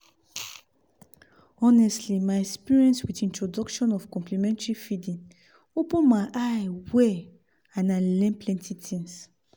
honestly my experience with introduction of complementary feeding open my eye well and i learn plenty things